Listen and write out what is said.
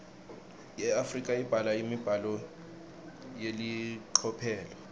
iafrika ibhala imibhalo yelicophelo